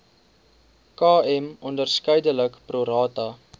km onderskeidelik prorata